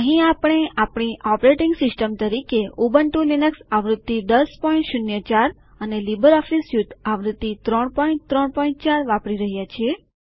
અહીં આપણે આપણી ઓપરેટિંગ સિસ્ટમ તરીકે ઉબુન્ટુ લિનક્સ આવૃત્તિ ૧૦૦૪ અને લીબરઓફીસ સ્યુટ આવૃત્તિ ૩૩૪ વાપરી રહ્યા છીએ